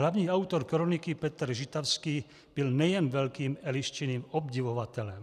Hlavní autor kroniky Petr Žitavský byl nejen velkým Eliščiným obdivovatelem."